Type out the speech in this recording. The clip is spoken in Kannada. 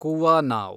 ಕುವಾನಾವ್